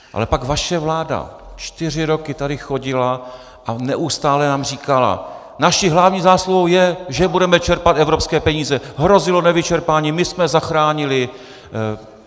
Ale pak vaše vláda čtyři roky tady chodila a neustále nám říkala: naší hlavní zásluhou je, že budeme čerpat evropské peníze, hrozilo nevyčerpání, my jsme zachránili...